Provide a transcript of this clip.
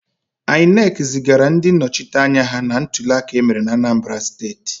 INEC zigara ndị nnọchiteanya ha na ntuliaka emere na Anambara steti.